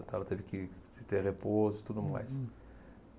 Ela teve que ter repouso e tudo mais.